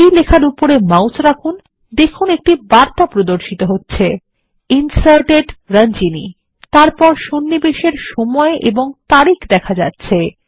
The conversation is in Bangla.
এই লেখার উপরে মাউস রাখুন দেখুন একটি বার্তা প্রদর্শিত হচ্ছে ইনসার্টেড Ranjani তারপর সন্নিবেশ এর সময় ও তারিখ দেখা যাচ্ছে